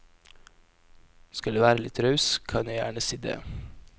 Skal jeg være litt raus, kan jeg gjerne si dét.